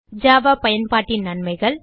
Java பயன்பாட்டின் நன்மைகள்